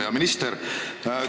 Hea minister!